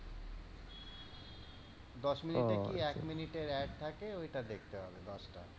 দশ মিনিটের কি এক মিনিটের ad থাকে, ঐ টা দেখতে হবে দশটা।